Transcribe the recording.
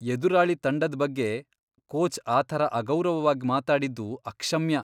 ಎದುರಾಳಿ ತಂಡದ್ ಬಗ್ಗೆ ಕೋಚ್ ಆ ಥರ ಅಗೌರವವಾಗ್ ಮಾತಾಡಿದ್ದು ಅಕ್ಷಮ್ಯ.